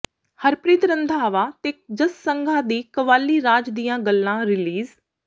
ਹਰਪ੍ਰੀਤ ਰੰਧਾਵਾ ਤੇ ਜੱਸ ਸੰਘਾ ਦੀ ਕੱਵਾਲੀ ਰਾਜ ਦੀਆਂ ਗੱਲਾਂ ਰਿਲੀਜ਼